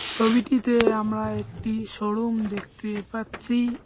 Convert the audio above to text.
ছবিটিতে আমরা একটি শোরুম দেখতে পাচ্ছি।